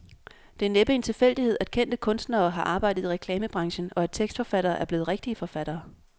Det er næppe en tilfældighed, at kendte kunstnere har arbejdet i reklamebranchen, og at tekstforfattere er blevet rigtige forfattere.